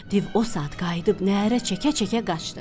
Div o saat qayıdıb nərə çəkə-çəkə qaçdı.